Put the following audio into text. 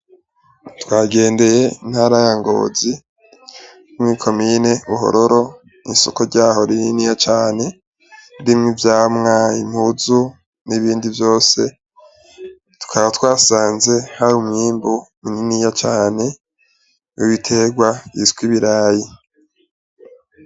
Twagendeye intara ya ngozi mw'ikomine buhororo isoko ryaho rininiya cane irimwo ivyamwa, impuzu n'ibindi vyose, tukaba twasanze hari umwimbu muniniya cane ibiterwa bitswe ibirayi.